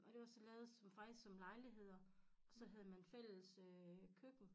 Og det var så lavet som faktisk som lejligheder og så havde man fælles øh køkken